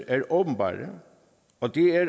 er åbenbar og det er